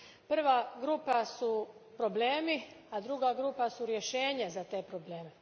Prva grupa su problemi, a druga grupa su rješenje za te probleme.